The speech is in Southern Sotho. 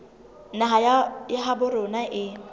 naha ya habo rona e